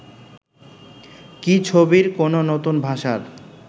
কি ছবির কোনো নতুন ভাষার